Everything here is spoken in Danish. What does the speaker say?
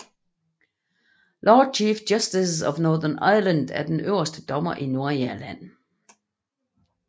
Lord Chief Justice of Northern Ireland er den øverste dommer i Nordirland